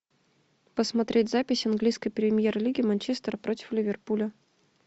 посмотреть запись английской премьер лиги манчестер против ливерпуля